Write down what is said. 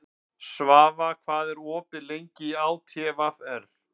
Svafa, hvað er opið lengi í ÁTVR?